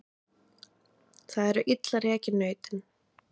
Það eru illa rekin nautin